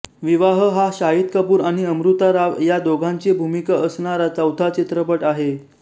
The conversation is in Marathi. विवाह हा शाहिद कपूर आणि अमृता राव या दोघांची भूमिका असणारा चौथा चित्रपट आहे